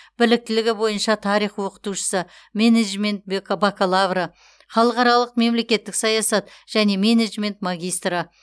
біліктілігі бойынша тарих оқытушысы менеджмент бек бакалавры халықаралық мемлекеттік саясат және менеджмент магистрі